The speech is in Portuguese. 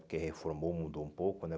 Porque reformou, mudou um pouco, né?